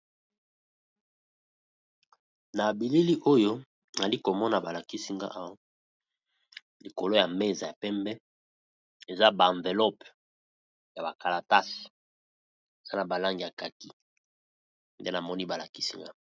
Na bilili oyo ali komona balakisinga a likolo ya meza ya pembe eza baenvelope ya bakalatas za na balangi ya kaki nde namoni balakisinga.